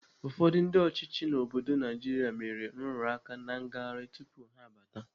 Ụfọdụ ndị ọchịchị obodo Naijiria mere nrụrụaka na ngarị tupu ha abata.